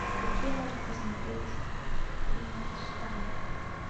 какие можно посмотреть фильмец штамм